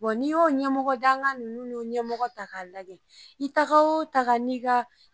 ni y'o ɲɛmɔgɔ dankan nunnu n'o ɲɛmɔgɔ ta ka lagɛ i ta wo ta